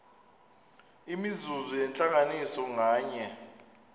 imizuzu yentlanganiso nganye